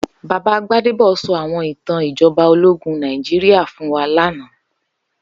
Baba Gbadebo sò áwòn itàn ijòbá ólógùn Nigeria fún wá làná